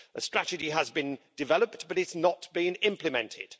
A strategy has been developed, but it's not been implemented.